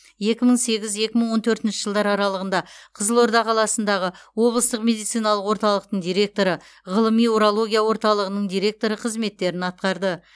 екі мың сегіз екі мың он төртінші жылдар аралығында қызылорда қаласындағы облыстық медициналық орталықтың директоры ғылыми урология орталығының директоры қызметтерін атқарды